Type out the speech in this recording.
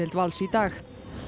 Vals í dag